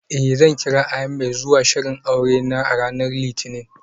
Eh, zan kira Ahmed zuwa shirin aure a ranar litinin.